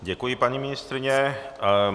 Děkuji, paní ministryně.